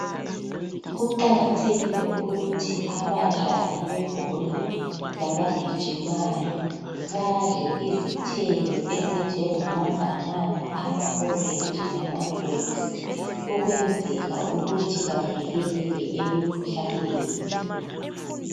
Kuqakathekile ukuthi abadlali bebhola labagijimayo, badle izithelo ezinjengamabhanana, amaorenji, lamagrephisi. Ukwenzela ukuthi bavikeleke emikhuhlaneni.